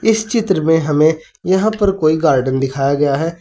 इस चित्र में हमें यहां पर कोई गार्डन दिखाया गया है।